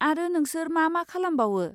आरो नोंसोर मा मा खालामबावो?